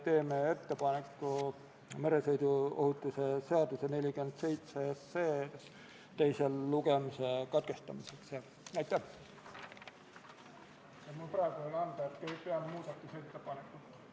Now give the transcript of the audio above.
12. päevakorrapunkt on Vabariigi Valitsuse esitatud Riigikogu otsuse "Kaitseväe kasutamise tähtaja pikendamine Eesti riigi rahvusvaheliste kohustuste täitmisel Prantsusmaa sõjalisel operatsioonil Barkhane Malis" eelnõu 73 teine lugemine.